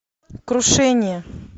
крушение